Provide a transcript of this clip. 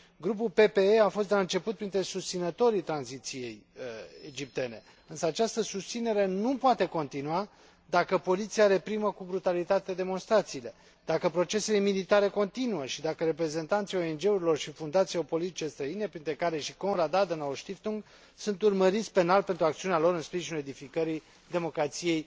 Grupul PPE fost de la început printre susținătorii tranziției egiptene, însă această susținere nu poate continua dacă poliția reprimă cu brutalitate demonstrațiile, dacă procesele militare continuă și dacă reprezentanții ONG urilor și fundațiilor politice străine, printre care și Konrad Adenauer Stiftung, sunt urmăriti penal pentru acțiunea lor în sprijinul edificării democrației